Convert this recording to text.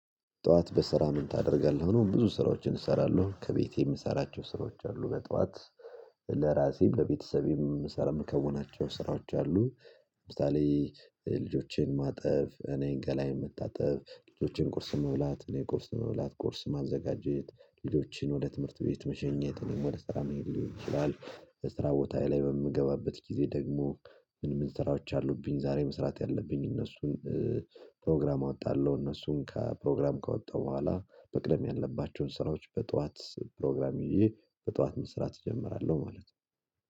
"ጠዋት በስራ ምን ታደርጋለህ?" ነው፣ ብዙ ስራዎችን እሰራለሁ። ከቤቴ የምሰራቸው ስራዎች አሉ በጠዋት። ለራሴም ለቤተሰቤም ምሰረ ምከውናቸው ስራዎች አሉ። ለምሳሌ ልጆቼን ማጠብ፣ እኔን ገላዬን መታጠብ፣ ልጆቼን ቁርስ መብላት፣ እኔ ቁርስ መብላት፣ ቁርስ ማዘጋጀት፣ ልጆቼን ወደ ትምህርት ቤት መሸኘት፣ ወደ ስራ መሄድ ሊሆን ይችላል። ስራ ቦታዬ ላይ በምገባበት ጊዜ ደግሞ ምን ምን ስራዎች አሉብኝ ዛሬ መስራት ያለብኝ እነሱን ፕሮግራም አወጣለሁ፣ እነሱን ከ ፕሮግራም ካወጣሁ በኋላ መቅደም ያለባቸውን ስራዎች በጠዋት ፕሮግራም ይዤ በጠዋት መስራት እጀምራለሁ ማለት ነው።